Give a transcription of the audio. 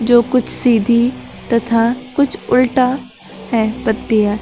जो कुछ सीधी तथा कुछ उल्टा है पत्तियां--